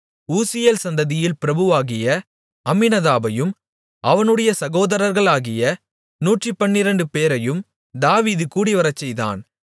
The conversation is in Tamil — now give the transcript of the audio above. ஊசியேல் சந்ததியில் பிரபுவாகிய அம்மினதாபையும் அவனுடைய சகோதரர்களாகிய நூற்றுப்பன்னிரெண்டு பேரையும் தாவீது கூடிவரச்செய்தான்